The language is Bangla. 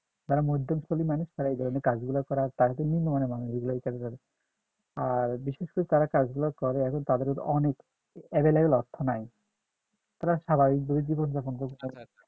যারা মধ্যস্থলি মানুষ তারা এধরনের কাজ গুলো করে আর আর বিশেষ করে তারা কাজ গুলা করে এখন তাদের অনেক available অর্থ নাই তারা স্বাভাবিক ভাবে জীবন যাপন করে